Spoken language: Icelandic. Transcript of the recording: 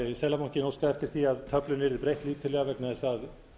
seðlabankinn óskaði eftir því að töflunni yrði breytt lítillega vegna þess að